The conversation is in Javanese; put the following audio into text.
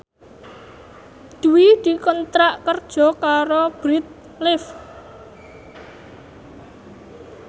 Dwi dikontrak kerja karo Bread Life